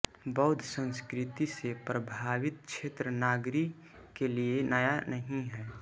बौद्ध संस्कृति से प्रभावित क्षेत्र नागरी के लिए नया नहीं है